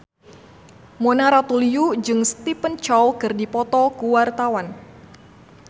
Mona Ratuliu jeung Stephen Chow keur dipoto ku wartawan